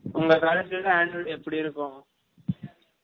உங்க college லலாம் annual day எப்டி இருக்கும்